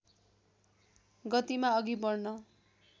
गतिमा अघि बढ्न